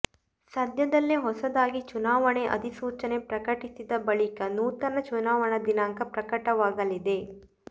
ಸದ್ಯದಲ್ಲೇ ಹೊಸದಾಗಿ ಚುನಾವಣೆ ಅಧಿಸೂಚನೆ ಪ್ರಕಟಿಸಿದ ಬಳಿಕ ನೂತನ ಚುನಾವಣೆ ದಿನಾಂಕ ಪ್ರಕಟವಾಗಲಿದೆ